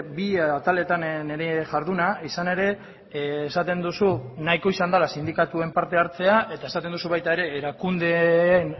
bi ataletan nire jarduna izan ere esaten duzu nahiko izan dela sindikatuen parte hartzea eta esaten duzu baita ere erakundeen